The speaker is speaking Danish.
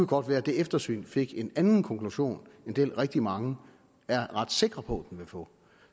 godt være at det eftersyn fik en anden konklusion end den rigtig mange er ret sikre på vil få